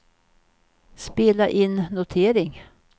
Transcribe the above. spela in notering